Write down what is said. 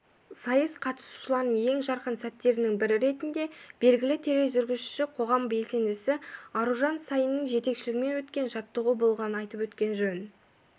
сайыс қатысушыларының ең жарқын сәттерінің бірі ретінде белгілі тележүргізуші қоғам белсендісі аружан саинның жетекшілігімен өткен жаттығу болғанын айтып өткен жөн